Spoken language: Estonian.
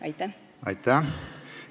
Aitäh!